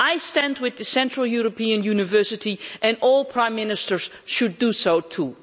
I stand with the Central European University, and all prime ministers should do so too.